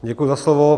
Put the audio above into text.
Děkuji za slovo.